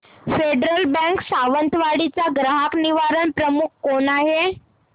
federal bank Sawantwadi चा ग्राहक निवारण प्रमुख कोण आहे